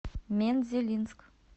мензелинск